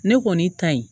Ne kɔni ta ye